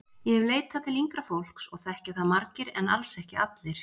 Ég hef leitað til yngra fólks og þekkja það margir en alls ekki allir.